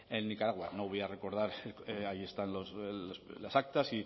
en nicaragua no voy a recordar ahí están las actas